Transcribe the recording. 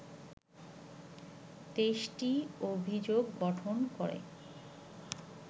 ২৩টি অভিযোগ গঠন করে